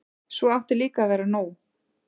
Svo átti líka að vera nú.